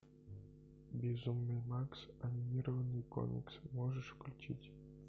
безумный макс анимированный комикс можешь включить